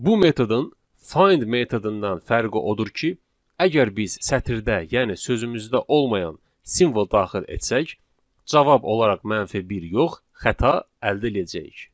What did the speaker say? Bu metodun find metodundan fərqi odur ki, əgər biz sətirdə, yəni sözümüzdə olmayan simvol daxil etsək, cavab olaraq -1 yox, xəta əldə edəcəyik.